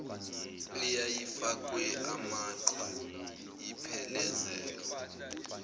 eyayifakwe amaqhwa iphelezelwa